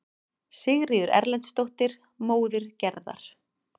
Sigríður Erlendsdóttir, móðir Gerðar.